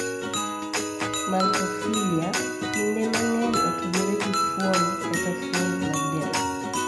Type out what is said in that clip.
Maltophilia) kinde mang'eny otudore gi fuon kata fuon mag del.